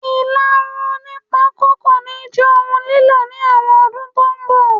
Ilarun oní pako kò ní jẹ́ ohun lilo ní àwọn ọdún tó ń bọ̀